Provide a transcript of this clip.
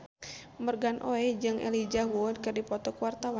Morgan Oey jeung Elijah Wood keur dipoto ku wartawan